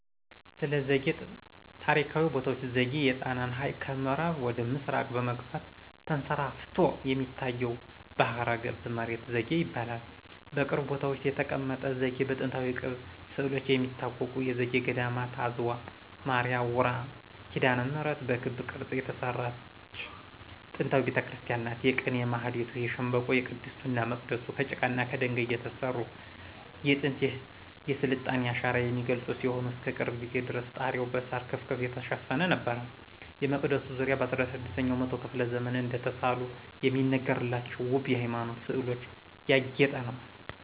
ስለዘጌ ታሪካዊ ቦታዎች ዘጌ የጣናን ሀይቅ ከምአራብ ወደ ምስራቅ በመግፋት ተንሰራፍቶ የሚታየው ባህረገብ መሬት ዘጌ ይባላል። በቅርብ ቦታዎች የተቀመጠ ዘጌ በጥንታዊ ቅብ ስእሎች ከሚታወቁት የዘጌ ገዴማት አዝዋ ማርያ ውራ ኪዳነምህረት በክብ ቅርጽ የተሰራች ጥንታዊ ቤተክርስቲያን ናት። የቅኔ ማህሌቱ ከሸንበቆ :ቅድስቱና መቅደሱ ከጭቃና ከደንጋይ የተሰሩ የጥንት የስልጣኔን አሻራ የሚገልጹ ሲሆን እስከቅርብ ጊዜ ድረስ ጣሪያዉ በሳር ክፍክፍ የተሸፈነ ነበር። የመቅደሱ ዙሪያ በ16 ኛው መቶ ክፍለ ዘመን እደተሳሉ የሚነገርላቸው ወብ የሃይማኖት ስእሎች ያጌጠ ነው።